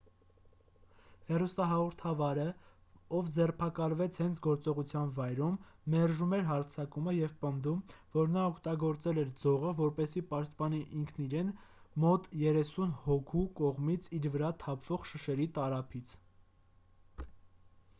հեռուստահաղորդավարը ով ձերբակալվեց հենց գործողության վայրում մերժում էր հարձակումը և պնդում որ նա օգտագործել էր ձողը որպեսզի պաշտպանի ինքն իրեն մոտ երեսուն հոգու կողմից իր վրա թափվող շշերի տարափից